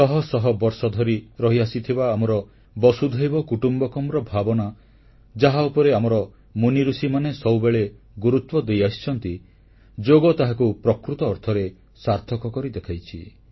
ଶହ ଶହ ବର୍ଷଧରି ରହିଆସିଥିବା ଆମର ବସୁଧୈବ କୁଟୁମ୍ବକମ୍ ଭାବନା ଯାହା ଉପରେ ଆମର ମୁନିଋଷିମାନେ ସବୁବେଳେ ଗୁରୁତ୍ୱ ଦେଇଆସିଛନ୍ତି ଯୋଗ ତାହାକୁ ପ୍ରକୃତ ଅର୍ଥରେ ସାର୍ଥକ କରି ଦେଖାଇଛି